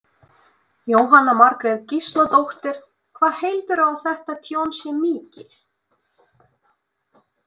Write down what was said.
Jóhanna Margrét Gísladóttir: Hvað heldurðu að þetta tjón sé mikið?